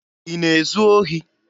Ị na-ezu ohi?